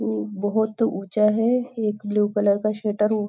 ऊ बहुत ऊंचा है एक ब्लू कलर का शटर --